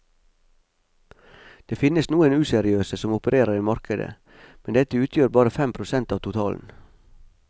Det finnes noen useriøse som opererer i markedet, men dette utgjør bare fem prosent av totalen.